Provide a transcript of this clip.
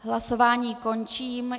Hlasování končím.